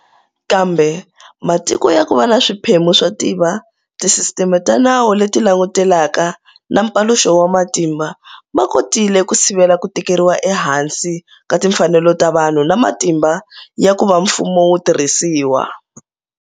Kambe matiko ya ku va na swiphemu swo tiva, tisisiteme ta nawu leti langutelaka na mpaluxo wa matimba ma kotile ku sivela ku tekeriwa ehansi ka timfanelo ta vanhu na matimba ya ku va mfumu wu tirhisiwa.